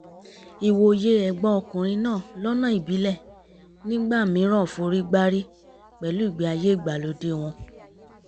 ìwòye ẹ̀gbọ́n ọkùnrin náà lọ́nà ìbílẹ̀ nígbà mìíràn forígbárí pẹ̀lú ìgbé ayé ìgbàlódé wọn